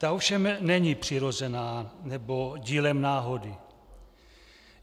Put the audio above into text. Ta ovšem není přirozená, nebo dílem náhody.